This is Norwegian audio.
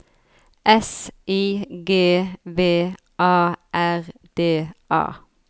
S I G V A R D A